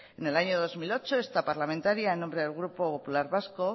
en el año dos mil ocho esta parlamentaria en nombre del grupo popular vasco